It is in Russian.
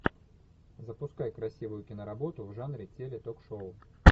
запускай красивую киноработу в жанре теле ток шоу